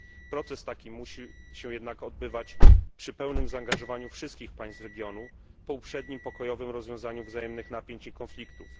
Proces taki musi się jednak odbywać przy pełnym zaangażowaniu wszystkich państw regionu, po uprzednim pokojowym rozwiązaniu wzajemnych napięć i konfliktów.